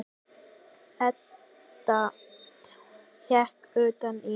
Edda hékk utan í.